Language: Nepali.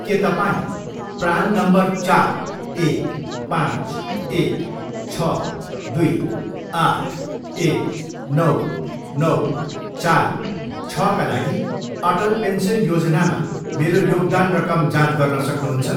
के तपाईँँ प्रान नम्बर चार, एक, पाँच, एक, छ, दुई, आठ, एक, नौ, नौ, चार, छका लागि अटल पेन्सन योजनामा मेरो योगदान रकम जाँच गर्न सक्नुहुन्छ?